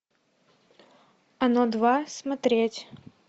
оно два смотреть